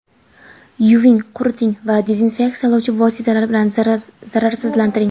Yuving, quriting va dezinfeksiyalovchi vositalar bilan zararsizlantiring.